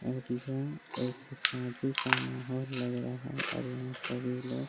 और यह एक शादी का माहौल लग रहा है और यहाँ सभी लोग --